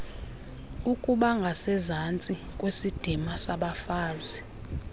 ukubangasezantsi kwesidima sabafazi